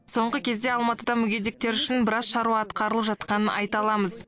соңғы кезде алматыда мүгедектер үшін біраз шаруа атқарылып жатқанын айта аламыз